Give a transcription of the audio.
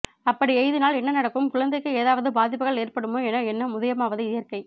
அப்படி எழுதினால் என்ன நடக்கும் குழந்த்தைக்கு எதாவது பாதிப்புகள் ஏற்படுமா என எண்ணம் உதயமாவது இயற்க்கை